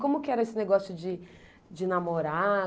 Como que era esse negócio de de namorar?